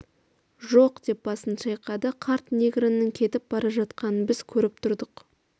жоқ деп басын шайқады қарт негроның кетіп бара жатқанын біз көріп тұрдық